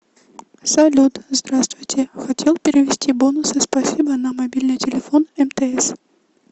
салют здравствуйте хотел перевести бонусы спасибо на мобильный телефон мтс